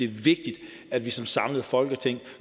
vigtigt at vi som samlet folketing